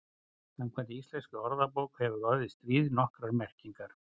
Samkvæmt íslenskri orðabók hefur orðið stríð nokkrar merkingar.